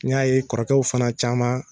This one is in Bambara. N y'a ye kɔrɔkɛ fana caman